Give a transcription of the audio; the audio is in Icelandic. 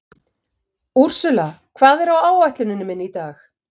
Úrsúla, hvað er á áætluninni minni í dag?